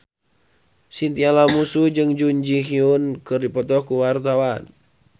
Chintya Lamusu jeung Jun Ji Hyun keur dipoto ku wartawan